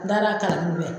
N'ala ka n'u ye